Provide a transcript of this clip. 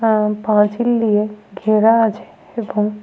আর পাঁচিল দিয়ে ঘেরা আছে এবং।